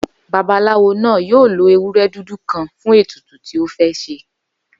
Babaláwo náà yóò lo ewúrẹ́ dúdú kan fún ètùtù tí ó fẹ́ ṣe